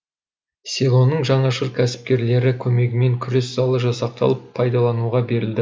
селоның жанашыр кәсіпкерлері көмегімен күрес залы жасақталып пайдалануға берілді